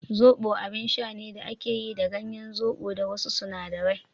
soɓo abin sha ne da ake yi da ganyen zoɓo da wasu sinadarai.